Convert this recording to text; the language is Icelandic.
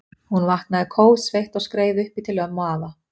Hún vaknaði kófsveitt og skreið upp í til ömmu og afa.